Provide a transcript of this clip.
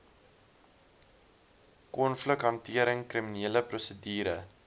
konflikhantering kriminele prosedure